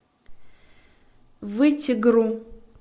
вытегру